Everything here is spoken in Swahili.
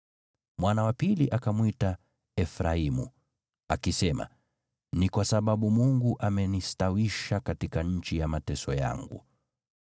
Mwana wa pili akamwita Efraimu, akisema, “Ni kwa sababu Mungu amenistawisha katika nchi ya mateso yangu.”